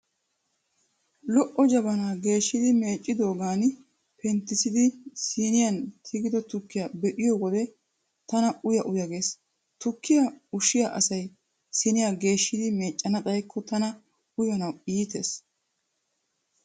Lo'o jabanaa geeshidi meeccidoogaani penttissidi siiniyan tigido tukkiyaa be'iyo wode tana uya uya gees . Tukkiyaa ushshiya asay siiniyaa geeshshidi meeccana xayikko tana uyanawu iitees.